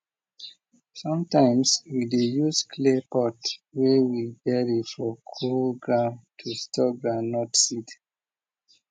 sometimes we dey use clay pot wey we bury for cool ground to store groundnut seed